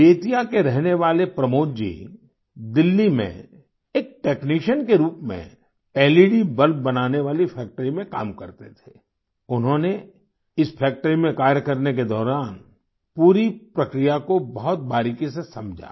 बेतिया के रहने वाले प्रमोद जी दिल्ली में एक टेक्नीशियन के रूप में लेड बल्ब बनाने वाली फैक्ट्री में काम करते थे उन्होंने इस फैक्ट्री में कार्य करने के दौरान पूरी प्रक्रिया को बहुत बारीकी से समझा